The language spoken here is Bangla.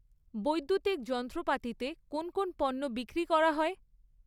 বৈদ্যুতিক যন্ত্রপাতিতে কোন কোন পণ্য বিক্রি করা হয়?